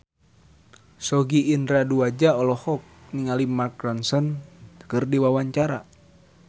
Sogi Indra Duaja olohok ningali Mark Ronson keur diwawancara